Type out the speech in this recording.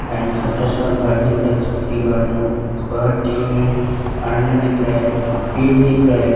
And छोटा सा घर दिख रहा है झोपड़ी घर दिख रहा है पेड़ दिख रहा है।